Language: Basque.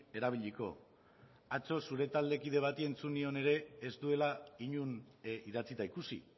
erabiliko atzo zure taldekide bati entzun nion ere ez duela inon idatzita ikusi